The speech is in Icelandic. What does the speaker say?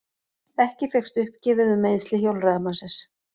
Ekki fékkst uppgefið um meiðsli hjólreiðamannsins